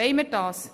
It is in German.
Wollen wir das?